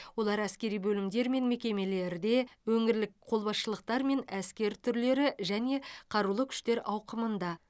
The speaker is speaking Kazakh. олар әскери бөлімдер мен мекемелерде өңірлік қолбасшылықтар мен әскер түрлері және қарулы күштер ауқымында